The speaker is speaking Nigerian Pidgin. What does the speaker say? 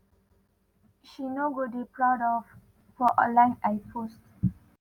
she no go dey proud of for online” ay post.